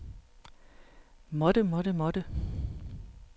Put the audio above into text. måtte måtte måtte